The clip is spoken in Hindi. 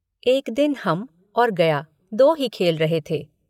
एक दिन हम और गया दो ही खेल रहे थे।